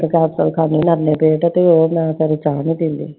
ਤੇ ਉਹ ਮੈਂ ਕਦੀ ਚਾਹ ਨੀ ਪੀਂਦੀl